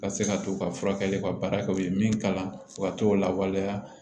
Ka se ka t'u ka furakɛli ka baara kɛ u ye min kalan u ka t'o lawaleya